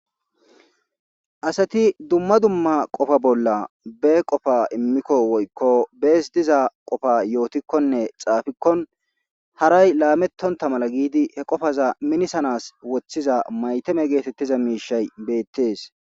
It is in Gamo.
Asati dumma dumma qofa bolla be qofa immikko woykko bees diza qofa yootikkonne xaafikkon haray laamettonta mala giidi he qofaza minisanas woththiza maytame geetettiza miishay beettees